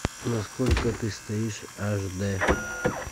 на сколько ты стоишь аш д